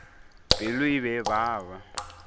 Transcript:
pelo e be e baba